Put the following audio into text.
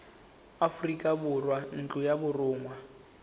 aforika borwa ntlo ya borongwa